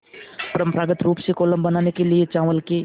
परम्परागत रूप से कोलम बनाने के लिए चावल के